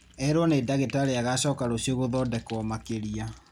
Erwo nĩ dagĩtarĩ agacoka rũcio gũthondekwo makĩria